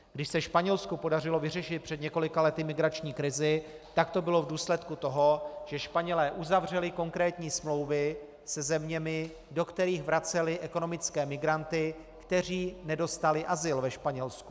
Když se Španělsku podařilo vyřešit před několika lety migrační krizi, tak to bylo v důsledku toho, že Španělé uzavřeli konkrétní smlouvy se zeměmi, do kterých vraceli ekonomické migranty, kteří nedostali azyl ve Španělsku.